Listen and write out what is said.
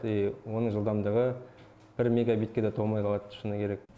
и оның жылдамдығы бір мегабитке де толмай қалады шыны керек